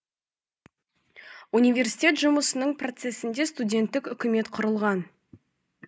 университет жұмысының процесінде студенттік үкімет құрылған